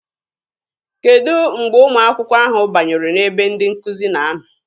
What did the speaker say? Kedụ mgbe ụmụ akwụkwọ ahụ banyere n'ebe ndị nkụzi na-anọ?